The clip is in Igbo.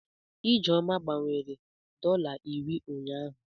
Ijeoma gbanwere dọla iri ụnyahụ.